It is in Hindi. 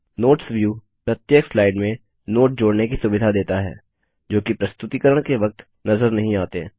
नोट्स व्यू प्रत्येक स्लाइड में नोट जोड़ने की सुविधा देता है जोकि प्रस्तुतिकरण के वक्त नज़र नहीं आते